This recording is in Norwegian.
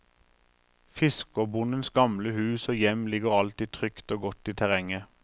Fiskerbondens gamle hus og hjem ligger alltid trygt og godt i terrenget.